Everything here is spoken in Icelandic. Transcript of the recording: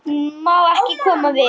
Má ekki koma við hann?